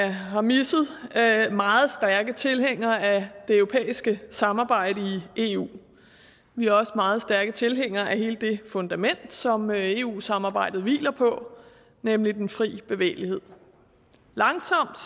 har misset meget stærke tilhængere af det europæiske samarbejde i eu vi er også meget stærke tilhængere af hele det fundament som eu samarbejdet hviler på nemlig den frie bevægelighed langsomt